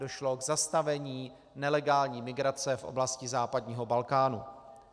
Došlo k zastavení nelegální migrace v oblasti západního Balkánu.